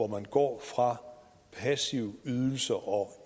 man går fra passive ydelser og